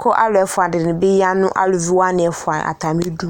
kʋ alʋ ɛfʋa dɩnɩ bɩ nʋ aluvi wanɩ ɛfʋa atamɩdu